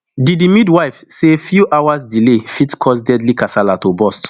di di midwife say few hours delay fit cause deadly kasala to burst